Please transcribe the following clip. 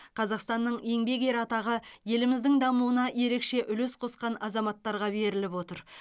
қазақстанның еңбек ері атағы еліміздің дамуына ерекше үлес қосқан азаматтарға беріліп отыр